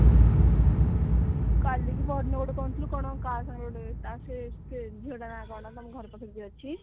କାଲି କି ପହରଦିନ ଗୋଟେ କହୁଥିଲୁ କଣ କାହା ସାଙ୍ଗରେ ଗୋଟେ ଯାଇଥିଲୁ ତା ସେ ସେ ଝିଅ ଟା ସାଙ୍ଗରେ କଣ ତମ ଘର ପାଖରେ ଯିଏ ଅଛି